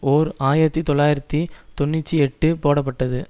ஓர் ஆயிரத்தி தொள்ளாயிரத்தி தொன்னூற்றி எட்டு போடப்பட்டது